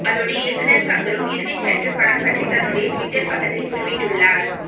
அதோடு இயக்குனர் ஷங்கரும் இறுதிச்சற்று படம் பற்றி தன்னுடைய டுவிட்டர் பக்கத்தில் குறிப்பிட்டுள்ளார்